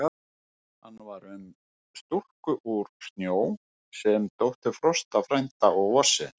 Hann er um stúlku úr snjó, sem er dóttir Frosta frænda og Vorsins.